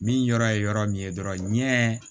Min yɔrɔ ye yɔrɔ min ye dɔrɔn ɲɛ